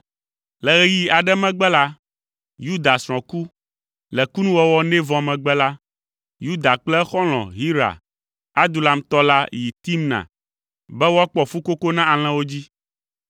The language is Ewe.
Le ɣeyiɣi aɖe megbe la, Yuda srɔ̃ ku. Le kunuwɔwɔ nɛ vɔ megbe la, Yuda kple exɔlɔ̃, Hira, Adulamtɔ la yi Timna be woakpɔ fukoko na alẽwo dzi.